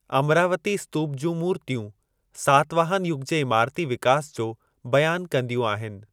अमरावती स्तूप जूं मूर्तियूं सातवाहन युग जे इमारती विकास जो बयान कंदियूं आहिनि।